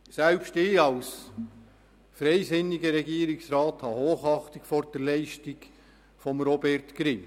Selbst ich als freisinniger Regierungsrat habe Hochachtung vor der Leistung von Robert Grimm.